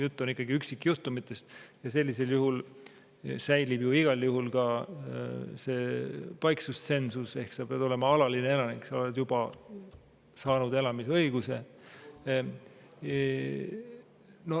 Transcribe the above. Jutt on ikkagi üksikjuhtumitest ja sellisel juhul säilib igal juhul ka paiksustsensus ehk sa pead olema alaline elanik, sa pead juba olema saanud elamisõiguse.